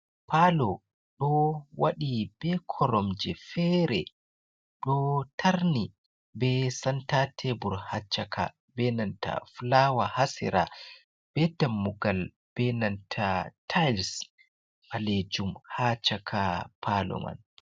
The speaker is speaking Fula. Pallo ɗo waɗi ɓe koromje, fere ɗo tarni be santa tebur ha caka benanta fulawa, ha sera be tammugal, benanta tiles ɓalejum ha chaka pallo man.